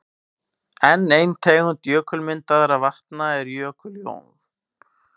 Enn ein tegund jökulmyndaðra vatna eru jökullón.